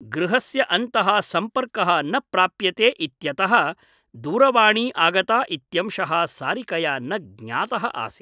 गृहस्य अन्तः सम्पर्कः न प्राप्यते इत्यतः दूरवाणी आगता इत्यंशः सारिकया न ज्ञातः आसीत् ।